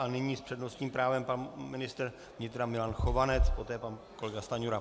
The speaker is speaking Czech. A nyní s přednostním právem pan ministr vnitra Milan Chovanec, poté pan kolega Stanjura.